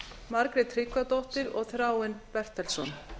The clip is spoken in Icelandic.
margrét tryggvadóttir og þráinn bertelsson